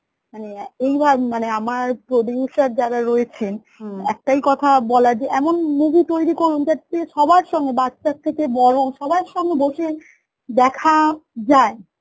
মানে এই মানে আমার producer যারা রয়েছেন কথা বলার যে এমন movie তৈরী করুন যাতে সবার সঙ্গে বাচ্চা থেকে বড় সবার সঙ্গে বসে দেখ যায়